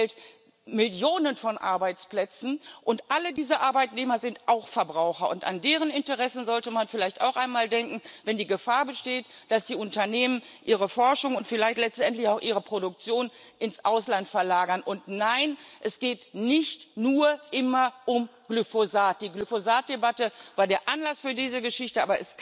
Er stellt Millionen von Arbeitsplätzen, und alle diese Arbeitnehmer sind auch Verbraucher. An deren Interessen sollte man vielleicht auch einmal denken, wenn die Gefahr besteht, dass die Unternehmen ihre Forschung und vielleicht letztendlich auch ihre Produktion ins Ausland verlagern. Und nein, es geht nicht immer nur um Glyphosat. Die Glyphosat Debatte war der Anlass für diese Geschichte.